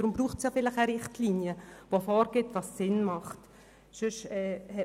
Deshalb braucht es Richtlinien, die vorgeben, was sinnvoll ist.